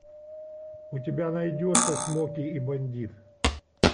у тебя найдется смоки и бандит